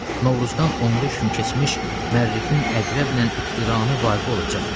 Novruzdan on beş gün keçmiş Mərrixin Əqrəblə iqtiranı vaqe olacaq